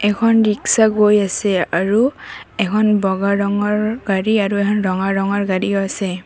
এখন ৰিক্সা গৈ আছে আৰু এখন বগা ৰঙৰ গাড়ী আৰু ৰঙা ৰঙৰ গাড়ীও আছে।